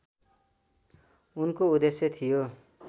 उनको उद्देश्य थियो